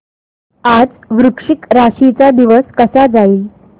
आज वृश्चिक राशी चा दिवस कसा जाईल